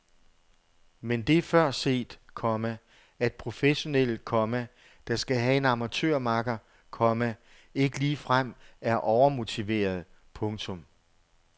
Men det er før set, komma at professionelle, komma der skal have en amatørmakker, komma ikke ligefrem er overmotiverede. punktum